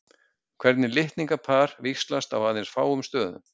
Hvert litningapar víxlast aðeins á fáum stöðum.